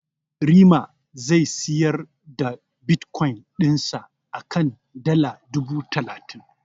Rema zai siyar da Bitkoyin dinsa a kan dala dubu talatin.